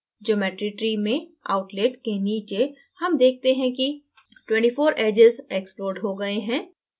geometry tree में outlet के नीचे हम देखते हैं कि 24 edges exploded हो गए हैं